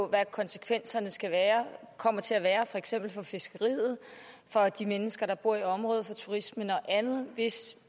hvad konsekvenserne kommer til at være for eksempel for fiskeriet for de mennesker der bor i området for turismen og andet hvis